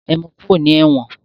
E mu kúrò ní ẹ̀wọ̀n!